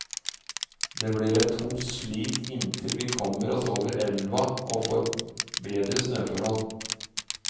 Det blir et tungt slit inntil vi kommer oss over elva og får bedre snøforhold.